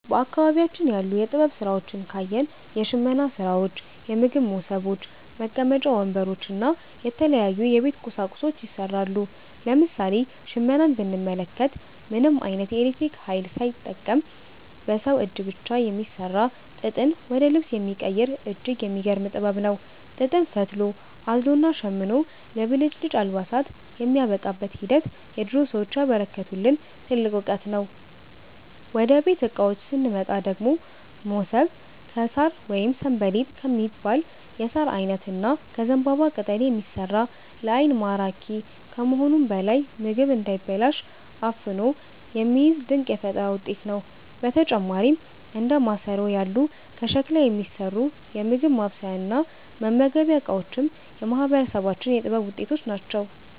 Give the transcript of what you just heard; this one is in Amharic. በአካባቢያችን ያሉ የጥበብ ሥራዎችን ካየን፣ የሽመና ሥራዎች፣ የምግብ መሶቦች፣ መቀመጫ ወንበሮች እና የተለያዩ የቤት ቁሳቁሶች ይሠራሉ። ለምሳሌ ሽመናን ብንመለከት፣ ምንም ዓይነት የኤሌክትሪክ ኃይል ሳይጠቀም በሰው እጅ ብቻ የሚሠራ፣ ጥጥን ወደ ልብስ የሚቀይር እጅግ የሚገርም ጥበብ ነው። ጥጥን ፈትሎ፣ አዝሎና ሸምኖ ለብልጭልጭ አልባሳት የሚያበቃበት ሂደት የድሮ ሰዎች ያበረከቱልን ትልቅ ዕውቀት ነው። ወደ ቤት ዕቃዎች ስንመጣ ደግሞ፣ መሶብ ከሣር ወይም 'ሰንበሌጥ' ከሚባል የሣር ዓይነት እና ከዘንባባ ቅጠል የሚሠራ፣ ለዓይን ማራኪ ከመሆኑም በላይ ምግብ እንዳይበላሽ አፍኖ የሚይዝ ድንቅ የፈጠራ ውጤት ነው። በተጨማሪም እንደ ማሰሮ ያሉ ከሸክላ የሚሠሩ የምግብ ማብሰያና መመገቢያ ዕቃዎችም የማህበረሰባችን የጥበብ ውጤቶች ናቸው።